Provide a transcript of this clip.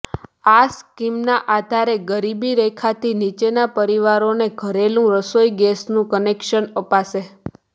આ સ્કીમના આધારે ગરીબી રેખાથી નીચેના પરિવારોને ઘરેલૂ રસોઈ ગેસનું કનેક્શન અપાશે